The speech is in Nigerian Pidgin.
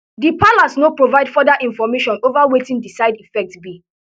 di palace no provide further information ova wetin di side effects be